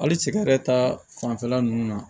Hali sigɛrɛ ta fanfɛla nunnu na